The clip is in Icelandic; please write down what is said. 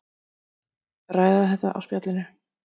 Ræða þetta á spjallinu.